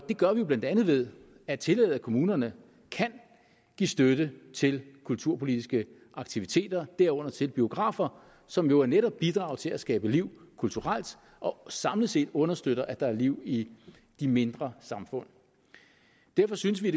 det gør vi jo blandt andet ved at tillade at kommunerne kan give støtte til kulturpolitiske aktiviteter derunder til biografer som jo netop bidrager til at skabe liv kulturelt og samlet set understøtter at der er liv i de mindre samfund derfor synes vi